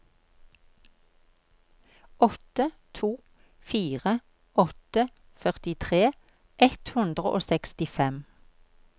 åtte to fire åtte førtitre ett hundre og sekstifem